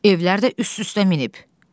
Evlər də üst-üstə minib.